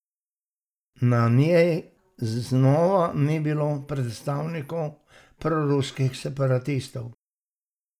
Na njej znova ni bilo predstavnikov proruskih separatistov.